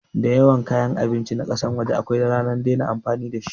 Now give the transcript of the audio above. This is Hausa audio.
Dayawan kayan abinci na kasan waje akwai ranar dena amfani dashi